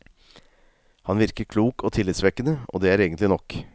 Han virker klok og tillitsvekkende, og det er egentlig nok.